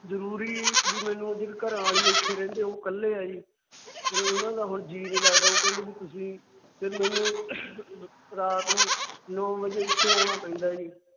ਜਰੂਰੀ ਬਹਿ ਮੈਨੂੰ ਘਰਾਂਵਾਲੀ ਇਥੇ ਰਹਿੰਦੇ ਉਹ ਇੱਕਲੇ ਹੈ ਜੀ। ਉਹਨਾਂ ਦਾ ਹੁਣ ਜੀਅ ਨਹੀਂ ਲੱਗਦਾ। ਉਹ ਕਹਿੰਦੇ ਵੀ ਤੁਸੀਂ ਰਾਤ ਨੂੰ ਨੋ ਵਜੇ ਇੱਥੇ ਆਉਣਾ ਪੈਂਦਾ ਹੈ ਜੀ।